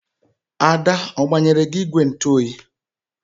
Ada ọ gbanyere gị ìgwè ntụoyi?